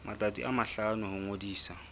matsatsi a mahlano ho ngodisa